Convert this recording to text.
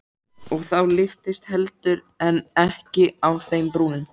Og þá lyftist heldur en ekki á þeim brúnin.